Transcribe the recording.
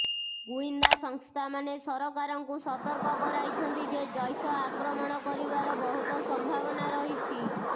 ଗୁଇନ୍ଦା ସଂସ୍ଥାମାନେ ସରକାରଙ୍କୁ ସତର୍କ କରାଇଛନ୍ତି ଯେ ଜୈଶ ଆକ୍ରମଣ କରିବାର ବହୁତ ସମ୍ଭାବନା ରହିଛି